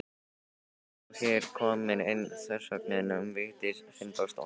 Og er hér komin ein þversögnin um Vigdísi Finnbogadóttur.